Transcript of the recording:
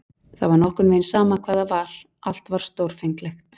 Það var nokkurn veginn sama hvað það var, allt var stórfenglegt.